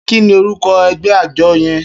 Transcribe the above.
Kini órúkò ègbè ájò yèn?